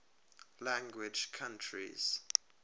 language countries